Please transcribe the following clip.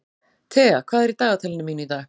Thea, hvað er í dagatalinu mínu í dag?